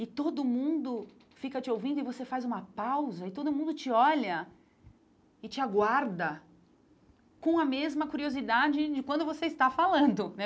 E todo mundo fica te ouvindo e você faz uma pausa e todo mundo te olha e te aguarda com a mesma curiosidade de quando você está falando né.